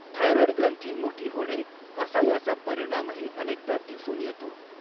Thyroid ग्रंथी मोठी होणे असा याचा परिणामही अनेकदा दिसून येतो.